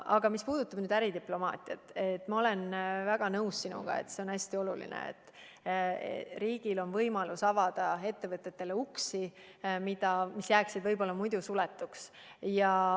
Aga mis puudutab äridiplomaatiat, siis ma olen sinuga väga nõus: on hästi oluline, et riigil on võimalus avada ettevõtetele uksi, mis jääksid võib-olla muidu suletuks.